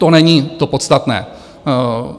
To není to podstatné.